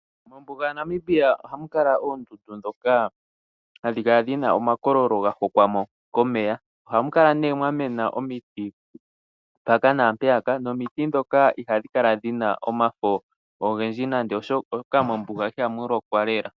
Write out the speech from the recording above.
Mombuga ya Namibia oha mu kala muna oondundu ndho ha dhi kala dhina oma kololo, ga hokwa mo komeya. Oha mu kala ne mwa mena omiti mpaka naampeyaka, nomiti ndhoka iha dhi kala dhina omafo ogendji oshoka mombuga iha mu lokwa lela.